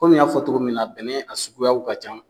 Kɔmi n y'a togo min na bɛnɛ a suguyaw ka ca